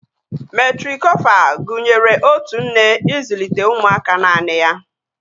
Metrikofal gụnyere otu nne ịzụlite ụmụaka naanị ya